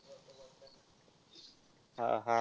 हा, हा.